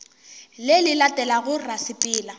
le le latelago ra sepela